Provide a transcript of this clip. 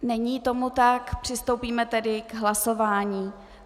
Není tomu tak, přistoupíme tedy k hlasování.